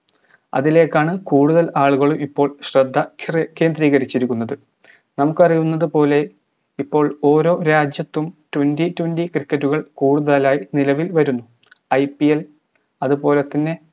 അതിലേക്കാണ് കൂടുതൽ ആളുകളും ഇപ്പോൾ ശ്രദ്ധ ചെ കേന്ദ്രീകരിച്ചിരിക്കുന്നത് നമുക്കറിയുന്നതുപോലെ ഇപ്പോൾ ഓരോ രാജ്യത്തും tewnty twenty cricket കൾ കൂടുതലായി നിലവിൽ വരുന്നു IPL അതുപോലെതന്നെ